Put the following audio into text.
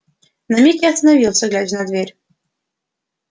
на миг я остановился глядя на дверь